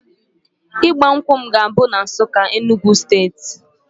Ịgba nkwụ m ga-abụ na Nsukka, Enugwu steeti